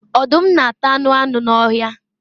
Ọdum nāta anu anu n'ọhia